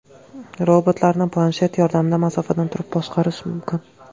Robotlarni planshet yordamida masofadan turib boshqarish mumkin.